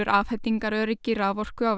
afhendingaröryggi raforku á